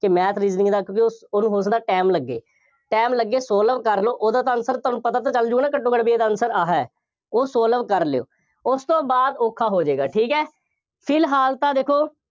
ਅਤੇ math reasoning ਦਾ ਕਿਉਂਕਿ, ਉਹਨੂੰ ਹੋ ਸਕਦਾ time ਲੱਗੇ, time ਲੱਗੇ solve ਕਰਨ ਨੂੰ, ਉਹਦਾ ਤਾਂ answer ਤੁਹਾਨੂੰ ਪਤਾ ਤਾਂ ਚੱਲਜੂਗਾ ਘੱਟੋ ਘੱਟ, ਬਈ ਇਹਦਾ answer ਆਹ ਹੈ। ਉਹ solve ਕਰ ਲਉ। ਉਸ ਤੋਂ ਬਾਅਦ ਔਖਾ ਹੋ ਜਾਏਗਾ, ਠੀਕ ਹੈ, ਫਿਲਹਾਲ ਤਾਂ ਦੇਖੋ।